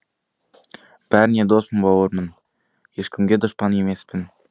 бәріңе доспын бауырмын ешкімге дұшпан емеспін